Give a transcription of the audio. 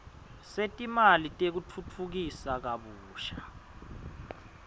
setimali tekutfutfukisa kabusha